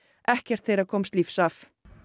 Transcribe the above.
ekkert þeirra komst lífs af